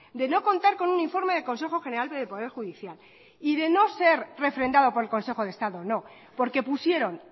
de no contar con un informe del consejo general del poder judicial y de no ser refrendado por el consejo de estado no porque pusieron